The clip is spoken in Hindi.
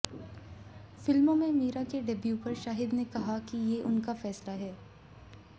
फिल्मों में मीरा के डेब्यू पर शाहिद ने कहा कि ये उनका फैसला है